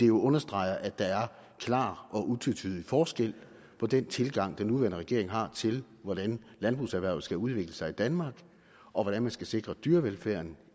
jo understreger at der er klar og utvetydig forskel på den tilgang den nuværende regering har til hvordan landbrugserhvervet skal udvikle sig i danmark og hvordan man skal sikre dyrevelfærden